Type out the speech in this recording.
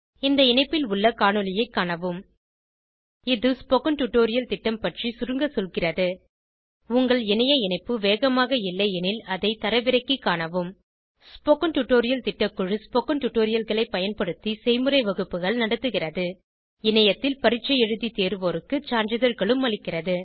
இந்த இணைப்பில் உள்ள காணொளியைக் காணவும் httpspoken tutorialorgWhat is a spoken tutorial இது ஸ்போகன் டுடோரியல் திட்டம் பற்றி சுருங்க சொல்கிறது உங்கள் இணைய இணைப்பு வேகமாக இல்லையெனில் அதை தரவிறக்கிக் காணவும் ஸ்போகன் டுடோரியல் திட்டக்குழு ஸ்போகன் டுடோரியல்களைப் பயன்படுத்தி செய்முறை வகுப்புகள் நடத்துகிறது இணையத்தில் பரீட்சை எழுதி தேர்வோருக்கு சான்றிதழ்களும் அளிக்கிறது